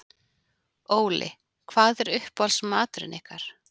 Óli: Hvað er uppáhaldsmaturinn ykkar?